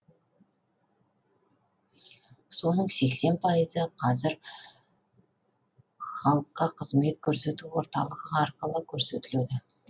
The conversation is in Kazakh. соның сексен пайызы қазір халыққа қызмет көрсету орталығы арқылы көрсетіледі